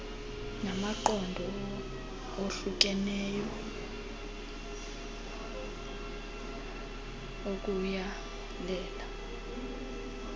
namaqondo ohlukeneyo okuyalela